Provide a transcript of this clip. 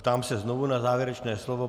Ptám se znovu na závěrečné slovo.